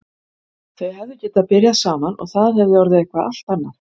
Þau hefðu getað byrjað saman og það hefði orðið eitthvað allt annað.